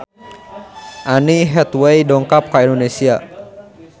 Anne Hathaway dongkap ka Indonesia